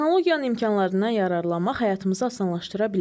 Texnologiyanın imkanlarından yararlanmaq həyatımızı asanlaşdıra bilər.